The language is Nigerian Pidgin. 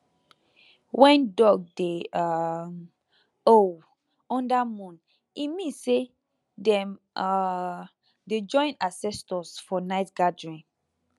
when dog dey um howl under moon e mean say dem um dey join ancestors for night gathering